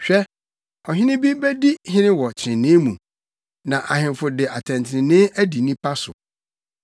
Hwɛ, ɔhene bi bedi hene wɔ trenee mu na ahemfo de atɛntrenee adi nnipa so.